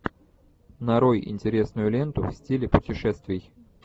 нарой интересную ленту в стиле путешествий